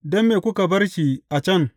Don me kuka bar shi a can?